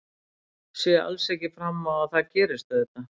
Sé alls ekki fram á að það gerist auðvitað.